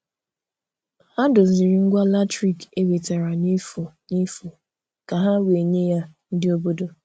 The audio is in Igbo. Ha doziri ngwa latrik e wetara n'efu n'efu ka ha wee nye ya ndị obodo